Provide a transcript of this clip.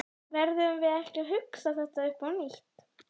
Verðum við ekki að hugsa þetta upp á nýtt?